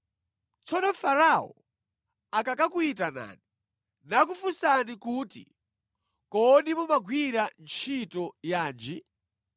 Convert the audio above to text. Tsono Farao akakuyitanani nakufunsani kuti, ‘Kodi mumagwira ntchito yanji?’